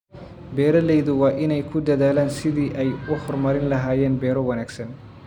Beeraleydu waa inay ku dadaalaan sidii ay u horumarin lahaayeen beero wanaagsan.